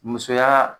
Musoya